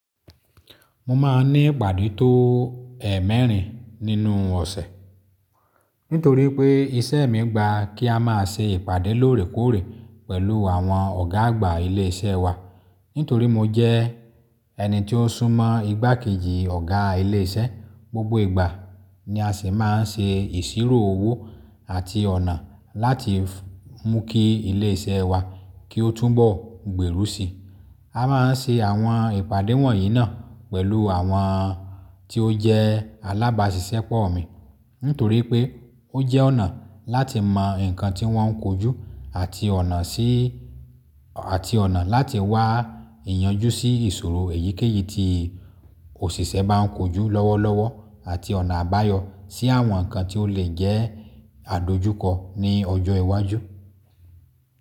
Mo máa ń ní ìpàdé tó è mẹ́rin nínú ọ̀sẹ̀, nítorí pé iṣẹ́ mi gba kí a máa ṣe ìpàdé lóòrèkóòrè pẹ̀lú àwọn ọ̀gá àgbà ilé iṣẹ́ wa. Nítorí mo jẹ́ ẹni tí ó súnmọ́ igbákejì ọ̀gá ilé iṣẹ́, gbogbo ìgbà ni a sì máa ń ṣe ìṣirò owó àti ọ̀nà láti mú kí ilé iṣẹ́ wa kí ó tún bọ̀ gbèrú si. A máa ń ṣe àwọn ìpàdé wọ̀nyí náà pẹ̀lú àwọn tí ó jẹ́ alábáṣiṣẹ́pọ̀ mi, nítorí pé ó jẹ́ ọ̀nà láti mọ nǹkan tí wọ́n ń kojú àti ọ̀nà sí, àti ọ̀nà láti wá ìyanjú sí ìṣòro èyíkéyìí tí òṣìṣẹ́ bá ń kojú lọ́wọ́lọ́wọ́ àti ọ̀nà àbáyọ sí àwọn nǹkan tí ó lè jẹ́ àdojúkọ ní ọjọ́ iwájú.